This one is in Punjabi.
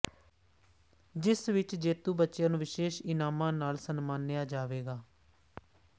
ਜਿਸ ਵਿਚ ਜੇਤੂ ਬੱਚਿਆਂ ਨੂੰ ਵਿਸੇਸ਼ ਇਨਾਮਾਂ ਨਾਲ ਸਨਮਾਨਿਆ ਜਾਵੇਗਾ